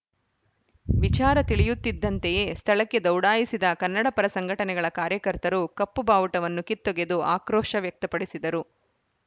ವಿಚಾರ ತಿಳಿಯುತ್ತಿದ್ದಂತೆಯೇ ಸ್ಥಳಕ್ಕೆ ದೌಡಾಯಿಸಿದ ಕನ್ನಡಪರ ಸಂಘಟನೆಗಳ ಕಾರ್ಯಕರ್ತರು ಕಪ್ಪು ಬಾವುಟವನ್ನು ಕಿತ್ತೊಗೆದು ಆಕ್ರೋಶ ವ್ಯಕ್ತಪಡಿಸಿದರು